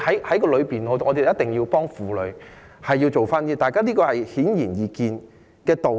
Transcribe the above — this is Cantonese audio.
所以，我們一定要幫助婦女做點事情，這個是顯而易見的道理。